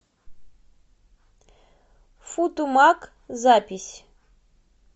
футумаг запись